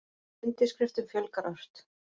Undirskriftum fjölgar ört